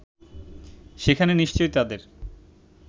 সেখানে নিশ্চয়ই তাদের